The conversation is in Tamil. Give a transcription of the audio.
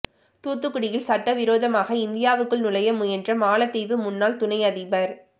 தூத்துக்குடியில் சட்டவிரோதமாக இந்தியாவுக்குள் நுழைய முயன்ற மாலத்தீவு முன்னாள் துணை அதிபர்